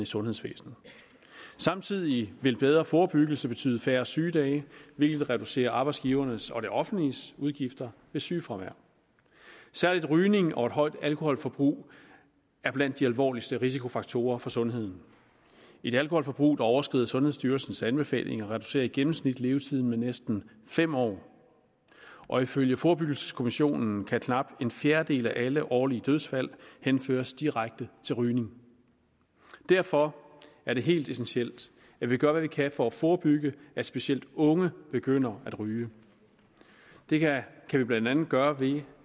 sundhedsvæsenet samtidig vil en bedre forebyggelse betyde færre sygedage hvilket reducerer arbejdsgivernes og det offentliges udgifter ved sygefravær særlig rygning og et højt alkoholforbrug er blandt de alvorligste risikofaktorer for sundheden et alkoholforbrug der overskrider sundhedsstyrelsens anbefalinger reducerer i gennemsnit levetiden med næsten fem år og ifølge forebyggelseskommissionen kan knap en fjerdedel af alle årlige dødsfald henføres direkte til rygning derfor er det helt essentielt at vi gør hvad vi kan for at forebygge at specielt unge begynder at ryge det kan vi blandt andet gøre ved